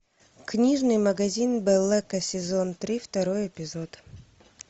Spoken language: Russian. книжный магазин блэка сезон три второй эпизод